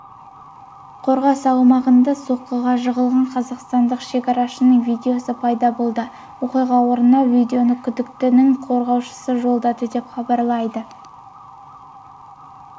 қорғас аумағында соққыға жығылған қазақстандық шекарашының видеосы пайда болды оқиға орнынан видеоны күдіктініңқорғаушысы жолдады деп хабарлайды